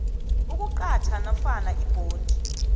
ukuqatjha nofana ibhondi